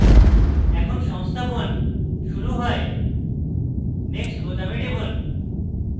এখন সংস্থাপন শুরু হয় next বোতামে টিপুন